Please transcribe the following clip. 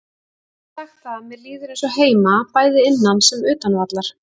Ég get sagt það að mér líður eins og heima, bæði innan sem utan vallar.